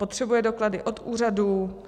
Potřebuje doklady od úřadů?